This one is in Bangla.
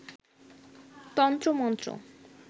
তন্ত্র মন্ত্র